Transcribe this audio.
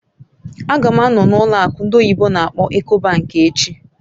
Ága m anọ n'ụlọ akụ ndị oyibo n'akpọ "Ecobank" echi